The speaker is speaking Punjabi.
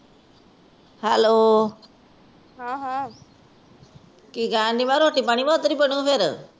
hello,